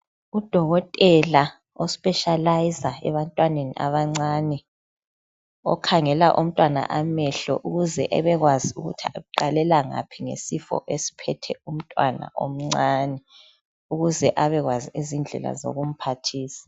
U dokotela ospecilizer ebantwaneni abancane. Okhangela umntwana amehlo ukuze abekwazi ukuthi uqalela ngaphi ngesifo esiphethe umntwana omncane. Ukuze abekwazi ukumphathisa.